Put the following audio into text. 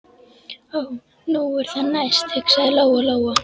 Ó, nú er það næst, hugsaði Lóa Lóa.